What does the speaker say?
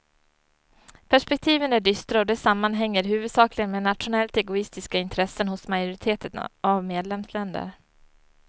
Perspektiven är dystra och det sammanhänger huvudsakligen med nationellt egoistiska intressen hos majoriteten av medlemsländer.